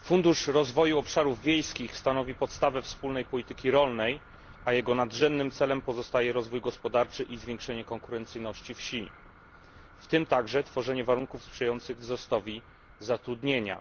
Fundusz Rozwoju Obszarów Wiejskich stanowi podstawę wspólnej polityki rolnej, a jego nadrzędnym celem pozostaje rozwój gospodarczy i zwiększenie konkurencyjności wsi, w tym także tworzenie warunków sprzyjających wzrostowi zatrudnienia.